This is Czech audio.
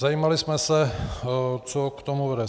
Zajímali jsme se, co k tomu vede.